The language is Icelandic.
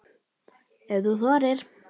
Ef þú þorir!